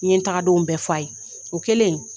N ye tagadonw bɛɛ fɔ a ye o kɛlen.